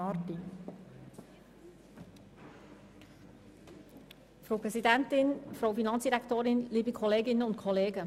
Für die SP-JUSO-PSA-Fraktion hat Grossrätin Marti das Wort.